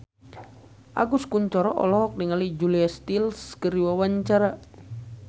Agus Kuncoro olohok ningali Julia Stiles keur diwawancara